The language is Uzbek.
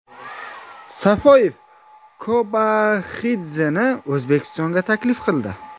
Safoyev Kobaxidzeni O‘zbekistonga taklif qildi.